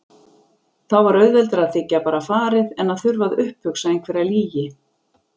Þá var auðveldara að þiggja bara farið en að þurfa að upphugsa einhverja lygi.